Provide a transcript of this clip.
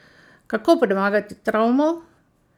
Kako premagati travmo?